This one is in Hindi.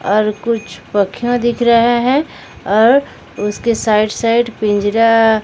और कुछ पखियां दिख रहा है और उसके साइड साइड पिंजरा--